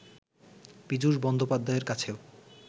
পীযূষ বন্দ্যোপাধ্যায়ের কাছেও